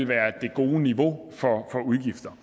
gode niveau for udgifter